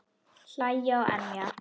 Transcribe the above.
Hlæja og emja.